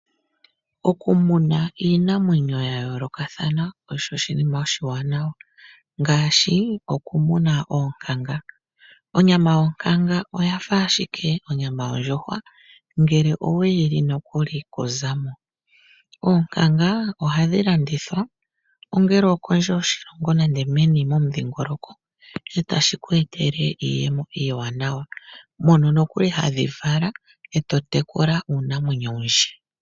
Okumuna iinamwenyo ya yoolokathana osho oshinima oshiwanawa ngaashi okumuna oonkanga. Onyama yonkanga oyafa ashike onyama yondjuhwa, ngele oweyi li nokuli kuzamo. Oonkanga ohadhi landithwa, ongele okondje yoshilongo nenge meni momudhingoloko, sho tashi ku etele iiyemo iiwanawa mono nokuli hadhi vala, e to tekula uunamwenyo owundji.